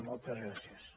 moltes gràcies